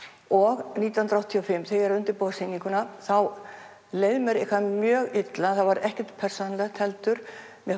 og nítján hundruð áttatíu og fimm þegar að undirbúa sýninguna þá leið mér mjög illa það var ekkert persónulegt heldur